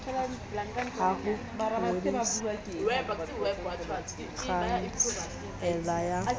sa ho ngodisa khansele ya